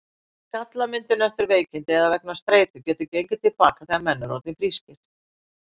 Skallamyndun eftir veikindi eða vegna streitu getur gengið til baka þegar menn eru orðnir frískir.